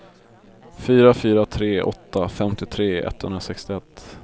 fyra fyra tre åtta femtiotre etthundrasextioett